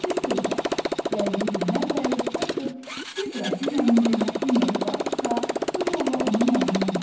Bir sözlə, gəldiyi gündən bəri herq kiçik qrafinyanın qiymətli nəyi vardısa, bu yolla onun əlindən aldı.